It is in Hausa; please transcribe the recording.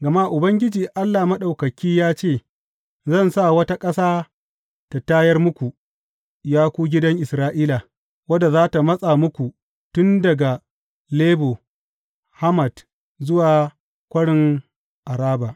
Gama Ubangiji Allah Maɗaukaki ya ce, Zan sa wata ƙasa ta tayar muku, ya ku gidan Isra’ila, wadda za tă matsa muku tun daga Lebo Hamat zuwa kwarin Araba.